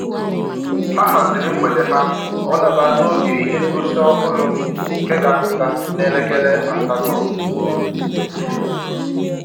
Ha haziri mgbede ha ka ọ daba n'oge ihe ngosi ọhụrụ nke ga apụta n'elekere asatọ